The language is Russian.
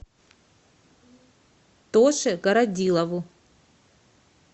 тоше городилову